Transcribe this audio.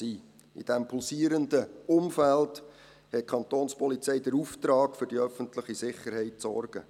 In diesem pulsierenden Umfeld hat die Kapo den Auftrag, für die öffentliche Sicherheit zu sorgen.